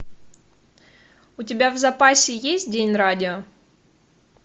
у тебя в запасе есть день радио